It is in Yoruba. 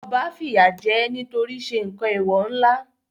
Ọba fìyà jẹ nítorí ṣe nǹkan Èwò ńlá